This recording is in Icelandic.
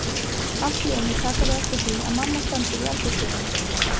Allt í einu taka þau eftir því að mamma stendur í eldhúsdyrunum.